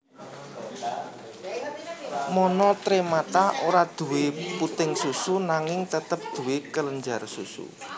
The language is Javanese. Monotremata ora duwé puting susu nanging tetep duwé kelenjar susu